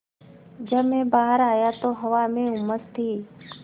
जब मैं बाहर आया तो हवा में उमस थी